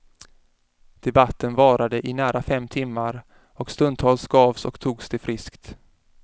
Debatten varade i nära fem timmar och stundtals gavs och togs det friskt.